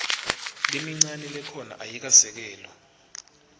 lemincane lekhona ayikasekelwa